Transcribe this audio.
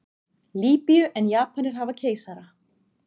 Lýbíu en Japanir hafa keisara.